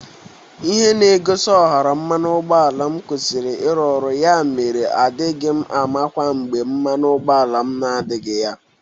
Ihe na-egosi ọhara mmanụ ụgbọala m kwusiri ịrụ ọrụ ya mere adịghị m amakwa mgbe mmanụ ụgbọala na-adịghị ya.